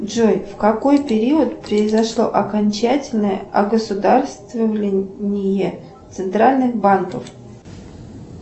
джой в какой период произошло окончательное огосударствление центральных банков